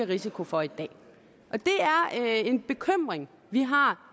risiko for i dag og det er en bekymring vi har